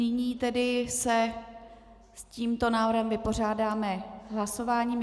Nyní se tedy s tímto návrhem vypořádáme hlasováním.